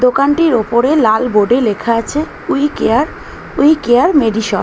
দোকানটির ওপরে লাল বোর্ডে লেখা আছে we care we care medishop.